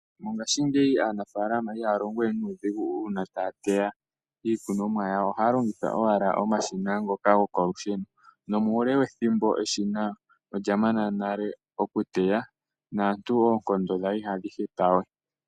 Mongashingeyi aanafaalama ihaya longo we nuudhigu uuna taya teya iikunomwa yawo, ohaya longitha owala omashina ngoka goko lusheno. Muule wethimbo efupi olya mana nale okuteya naantu oonkondo dhawo ihadhi hepa we.